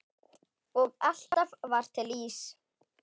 Og alltaf var til ís.